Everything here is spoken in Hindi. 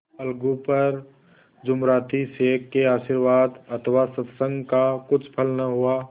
अलगू पर जुमराती शेख के आशीर्वाद अथवा सत्संग का कुछ फल न हुआ